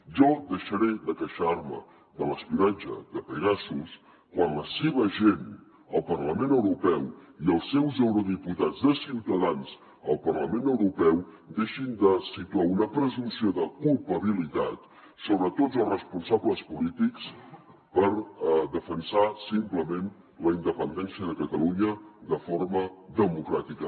jo deixaré de queixar me de l’espionatge de pegasus quan la seva gent al parlament europeu i els seus eurodiputats de ciutadans al parlament europeu deixin de situar una presumpció de culpabilitat sobre tots els responsables polítics per defensar simplement la independència de catalunya de forma democràtica